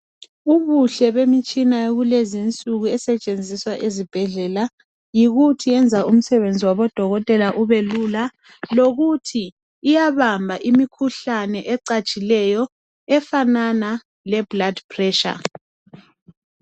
Ubuhle bemitshina yakulezinsuku esetshenziswa esibhedlela yikuthi iyenza umsebenzi wabodokotela ubelula lokuthi iyahamba imkhuhlane ecatshileyo efanana le blood pressure.